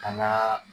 Ka na